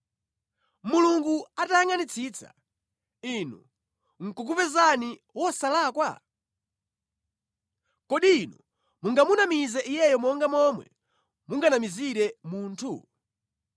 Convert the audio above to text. Mulungu atayangʼanitsitsa, inu nʼkukupezani wosalakwa? Kodi inu mungamunamize Iye monga momwe munganamizire munthu?